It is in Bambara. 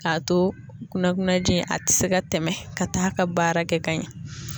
K'a to kunnakunnaji in a tɛ se ka tɛmɛ ka taa ka baara kɛ ka ɲɛ.